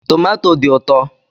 Tomato dị ụtọ.